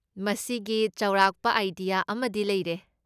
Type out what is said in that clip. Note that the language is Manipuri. ꯃꯁꯤꯒꯤ ꯆꯥꯎꯔꯥꯛꯄ ꯑꯥꯢꯗꯤꯌꯥ ꯑꯃꯗꯤ ꯂꯩꯔꯦ꯫